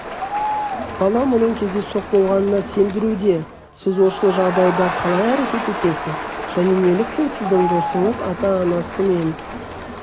бала мұның кездейсоқ болғанына сендіруде сіз осы жағдайда қалай әрекет етесіз және неліктен сіздің досыңыз ата-анасымен